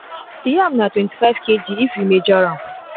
the yam na twenty-five kg if you measure am